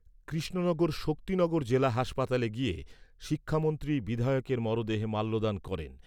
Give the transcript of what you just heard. কৃষ্ণনগর শক্তিনগর জেলা হাসপাতালে গিয়ে শিক্ষামন্ত্রী বিধায়কের মরদেহে মাল্যদান করেন।